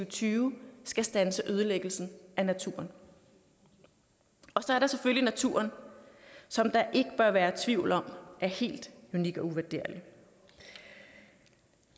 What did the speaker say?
og tyve skal standse ødelæggelsen af naturen og så er der selvfølgelig naturen som der ikke bør være tvivl om er helt unik og uvurderlig